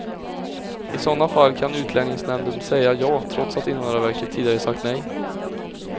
I sådana fall kan utlänningsnämnden säga ja, trots att invandrarverket tidigare sagt nej.